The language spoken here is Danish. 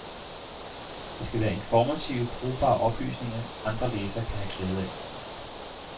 Det skal være informative, brugbare oplysninger, andre læsere kan have glæde af.